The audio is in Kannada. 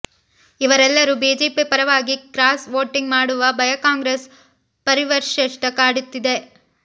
ಇವರೆಲ್ಲರೂ ಬಿಜೆಪಿ ಪರವಾಗಿ ಕ್ರಾಸ್ ವೋಟಿಂಗ್ ಮಾಡುವ ಭಯ ಕಾಂಗ್ರೆಸ್ ವರಿಷ್ಠರಿಗೆ ಕಾಡುತ್ತಿದೆ